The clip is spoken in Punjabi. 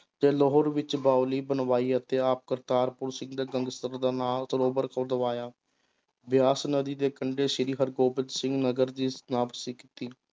ਤੇ ਲਾਹੌਰ ਵਿੱਚ ਬਾਊਲੀ ਬਣਵਾਈ ਅਤੇ ਆਪ ਕਰਤਾਰਪੁਰ ਸਰੋਵਰ ਖੁਦਵਾਇਆ, ਬਿਆਸ ਨਦੀ ਦੇ ਕੰਡੇ ਸ੍ਰੀ ਹਰਿਗੋਬਿੰਦ ਸਿੰਘ ਨਗਰ ਦੀ ਕੀਤੀ।